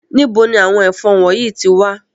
Nibo ni àwọn efon wọnyi ti wa?